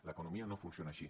l’economia no funciona així